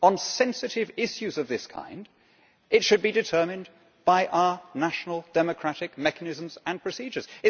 On sensitive issues of this kind it should be determined by our national democratic mechanisms and procedures.